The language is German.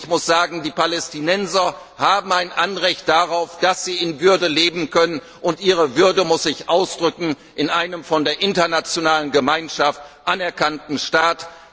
Ich muss sagen, die Palästinenser haben ein Anrecht darauf, dass sie in Würde leben können, und ihre Würde muss sich ausdrücken in einem von der internationalen Gemeinschaft anerkannten Staat.